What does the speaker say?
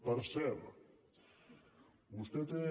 per cert vostè té